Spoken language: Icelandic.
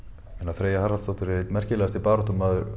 Freyja Haraldsdóttir er einn merkilegast baráttumaður